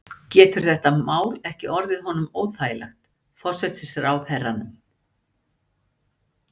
Getur þetta mál ekki orðið honum óþægilegt, forsætisráðherranum?